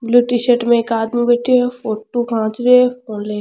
Blue T shirt में एक आदमी बैठे है फोटो खैंच री फ़ोन लेके।